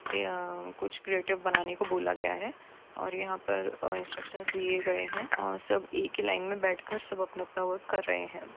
यहा कूच क्रिएटिव बनाने को बोला गया है और यहा पर आ इन्सट्रक्शन दिये गए है आ सब एक ही लाइन मे बैठकर सब अपना-अपना वर्क कर रहे है।